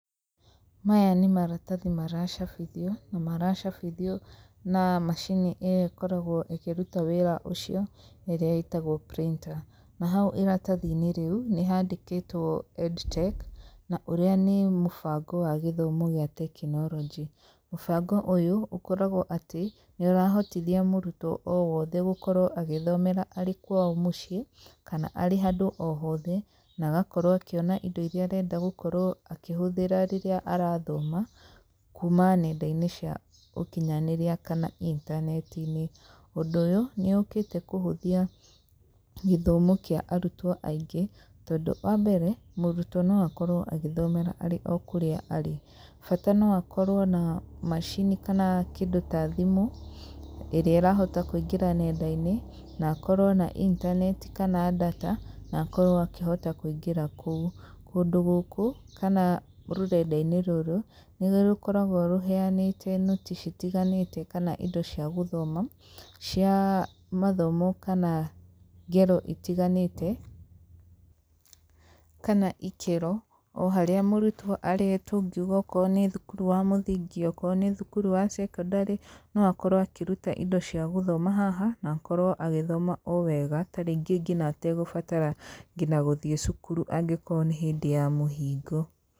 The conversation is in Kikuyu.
Maya nĩ maratathia maracabithio, na maracabithio na macini ĩrĩa ĩkoragwo ĩkĩrũta wĩra ũcio, ĩrĩa ĩtagwo printer. Na haũ irathathi-inĩ rĩũ nĩhandĩkĩtwo Edtech , na ũrĩa nĩ mũbango wa gĩthomo gĩa tekinorojĩ. Mũbango ũyũ ũkoragwo atĩ, niũrahotithia mũrũtwo owothe gũkorwo agĩthomera arĩ kwao mũciĩ, kana arĩ handũ ohothe na agakorwo akĩona indo irĩa arenda gũkorwo akĩhũthĩra rĩrĩa arathoma, kũma nenda-inĩ cia ũkinyanĩria kana intaneti-inĩ. Ũndũ ũyũ nĩũkĩte kũhũthia gĩthomo kĩa arũtwo aingĩ tondũ wa mbere, mũrũtwo noakorwo agĩthomera arĩ o kũrĩa arĩ. Bata no akorwo na macini kana kĩndũ ta thimũ ĩrĩa ĩrahota kũingĩra nenda-inĩ na akorwo na intaneti kana data na akorwo akĩhota kũingĩra kũu. Kũndũ gũkũ kana rũrenda-inĩ rũrũ nĩrũkoragwo rũheanĩte note citiganĩte kana indo cia gũthoma cia mathomo kana ngero itiganĩte kana ikĩro, o harĩa mũrũtwo arĩ tũngiũga akorwo nĩ thũkũrũ wa mũthingi, okorwo nĩ thũkũrũ wa secondary no akorwo akĩrũta indo cia gũthoma haha na akorwo agĩthoma owega tarĩngĩ ngina ategũbatara ngina gũthiĩ cũkũrũ angĩkorwo nĩ hĩndĩ ya mũhingo.